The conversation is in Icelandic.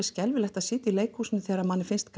skelfilegt að sitja í leikhúsinu þegar manni finnst